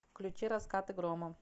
включи раскаты грома